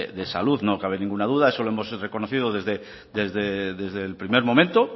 de salud no cabe ninguna duda eso lo hemos reconocido desde el primer momento